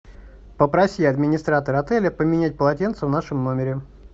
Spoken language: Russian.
попроси администратора отеля поменять полотенце в нашем номере